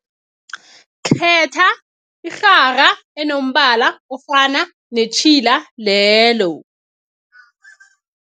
Khetha irhara enombala ofana netjhila lelo.